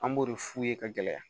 An b'o de f'u ye ka gɛlɛya